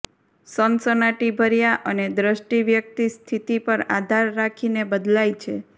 સનસનાટીભર્યા અને દ્રષ્ટિ વ્યક્તિ સ્થિતિ પર આધાર રાખીને બદલાય છે